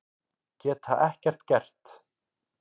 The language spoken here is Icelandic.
Geta ekkert gert.